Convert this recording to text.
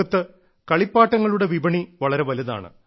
ലോകത്ത് കളിപ്പാട്ടങ്ങളുടെ വിപണി വളരെ വലുതാണ്